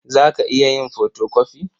Za ka iya yin fotokofi?